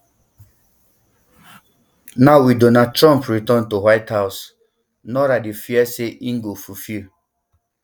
now wit donald trump return to white house nora dey fear say im go fulfil